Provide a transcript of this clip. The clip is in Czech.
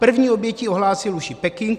První oběť ohlásil už i Peking.